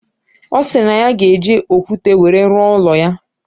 Osiri na ya ga eji okwute were ruo ulo ya.